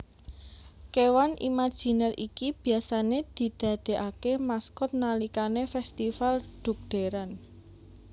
Kéwan imaginer iki biasane didadeake maskot nalikané festifal dhugderan